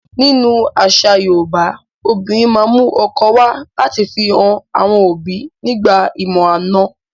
Nínú àṣà Yoòbá, obìnrin ma n mu ọkọ wa lati fi han àwọn òbi nígbà ìmọ-àna